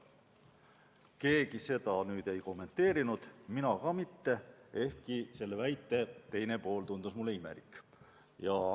" Keegi seda ei kommenteerinud, mina ka mitte, ehkki selle väite teine pool tundus mulle imelik.